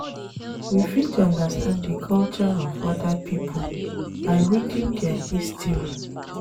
We fit understand di culture of oda pipo by reading their history